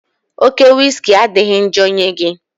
Oke wiski adịghị njọ nye gị